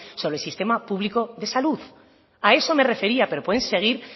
sobre el sistema público de salud a eso me refería pero pueden seguir